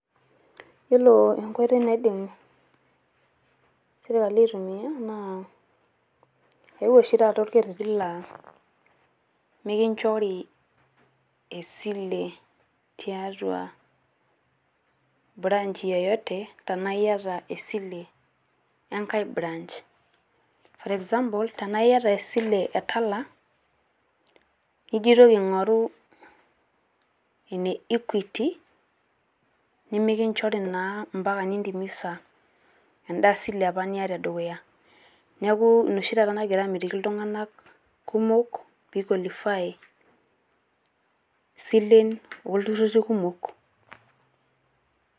Yiolo enkoitoi naidim sirkali aitumia naa eeewuo oshi taata olkerreti laa mikinchori esile tiatua branch yeyote tenaa iyata esile enkae branch. For example, tenaa iyata esile e Tala nijo aitoki aingo`ru ene Equity nemekinchori naa mpaka nintimisa enda sile apa niata e dukuya. Niaku ina oshi taata nagira amitiki iltung`anak kumok pee i qualify isilen oo ilturruri kumok.